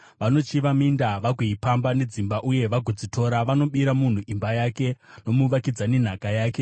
Vanochiva minda vagoipamba, nedzimba, uye vagodzitora. Vanobira munhu imba yake, nomuvakidzani nhaka yake.